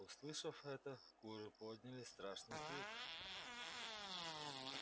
услышав это куры подняли страшный крик